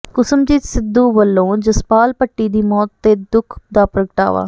ਕੁਸਮਜੀਤ ਸਿੱਧੂ ਵਲੋ ਜਸਪਾਲ ਭੱਟੀ ਦੀ ਮੌਤ ਤੇ ਦੁੱਖ ਦਾ ਪ੍ਰਗਟਾਵਾ